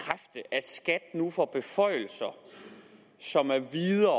skat nu får beføjelser som er videre